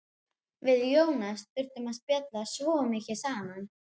Við Jónas þurftum að spjalla svo mikið saman.